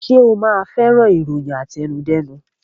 Ṣe o ma fẹ́ràn ìròyìn àtẹnudẹ́nu